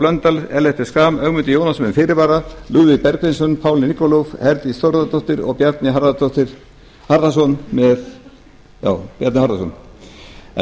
blöndal ellert b schram ögmundur jónasson með fyrirvara lúðvík bergvinsson paul nikolov herdís þórðardóttir og bjarni harðarson en